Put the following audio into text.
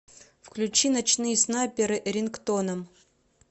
включи ночные снайперы рингтоном